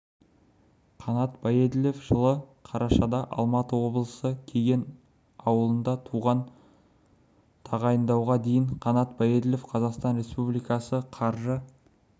қанат баеділов жылы қарашада алматы облысы кеген ауылында туған тағайындауға дейін қанат баеділов қазақстан республикасы қаржы